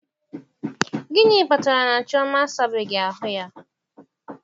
Gịnị kpatara na Chioma na-asabeghị ya?